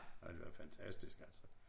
Ej det var fantastisk altså